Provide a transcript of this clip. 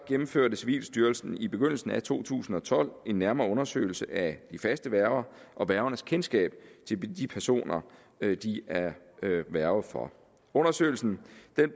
gennemførte civilstyrelsen i begyndelsen af to tusind og tolv en nærmere undersøgelse af de faste værger og værgernes kendskab til de personer de er værge for undersøgelsen